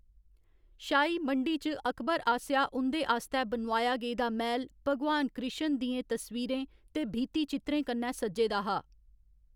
शाही मंडी च अकबर आसेआ उं'दे आस्तै बनोआया गेदा मैह्‌‌ल भगवान कृश्ण दियें तस्वीरें ते भित्तिचित्रें कन्नै सज्जे दा हा।